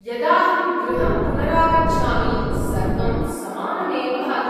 यदाहं गृहं पुनरागच्छामि, सर्वं समानमेव भाति।